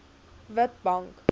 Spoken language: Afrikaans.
witbank